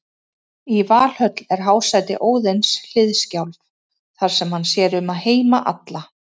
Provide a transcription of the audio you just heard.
Í Valhöll er hásæti Óðins, Hliðskjálf, þar sem hann sér um heima alla.